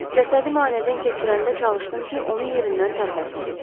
Cəsədi müayinədən keçirəndə çalışdım ki, onu yerindən tərpətməyim.